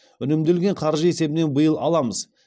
үнемделген қаржы есебінен биыл аламыз